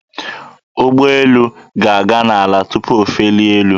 Ụgbọelu ga-aga n'ala tụpụ o felie elu.